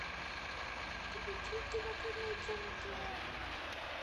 включи кинокомедия на тв